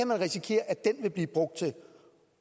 man risikere at den vil blive brugt til